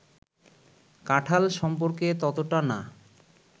কাঁঠাল সম্পর্কে ততটা না